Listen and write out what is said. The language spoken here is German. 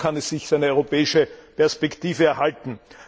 Nur so kann es sich seine europäische Perspektive erhalten.